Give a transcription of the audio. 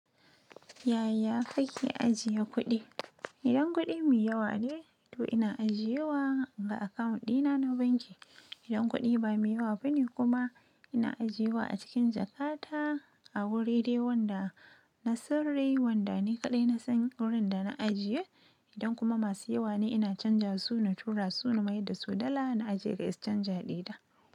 Yaya kake ajiye kuɗi? Idan kuɗi mai yawa ne, to ina ajiye wa ga account dina na banki. Idan kuɗi ba mai yawa bane kuma ina ajiye wa a cikin jakkata a wuri dai wanda na sirri wanda ni kaɗai na san wurin da na ajiye. Idan kuma masu yawa ne ina canja su na tura su na mai da su dala na ajiye ga exchanger ɗina.